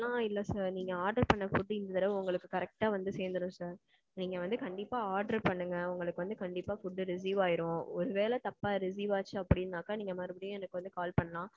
அப்படி எல்லாம் இல்ல sir. நீங்க order பண்ண food இந்த தடவ உங்களுக்கு correct அ வந்து சேந்திரும் sir. நீங்க வந்து கண்டிப்பா order பண்ணுங்க உங்களுக்கு வந்து கண்டிப்பா food receive ஆயிரும். ஒருவேல தப்பா receive ஆச்சு அப்பிடின்னாக்கா நீங்க மறுபடியும் எனக்கு வந்து call பண்ணலாம்.